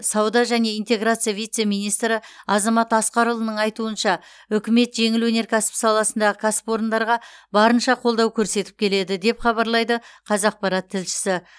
сауда және интеграция вице министрі азамат асқарұлының айтуынша үкімет жеңіл өнеркәсіп саласындағы кәсіпорындарға барынша қолдау көрсетіп келеді деп хабарлайды қазақпарат тілшісі